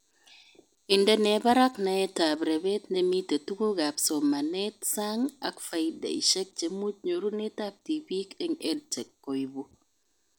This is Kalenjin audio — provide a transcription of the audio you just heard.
Indenee barak naetab rebet nemite tugukab somanetab sang ak faideshek chemuch nyorunetab tibik eng EdTech koibu